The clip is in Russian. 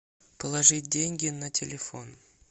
положить деньги на телефон